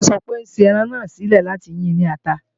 Fola sọ pé ò ń ṣe ẹran náà sílẹ̀ láti yi ní ata